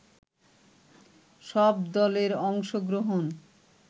সব দলের অংশগ্রহণ